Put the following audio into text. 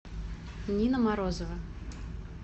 нина морозова